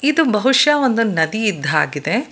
ಇದು ಬಹುಷ್ಯ ಒಂದು ನದಿ ಇದ್ದಾಗಿದೆ.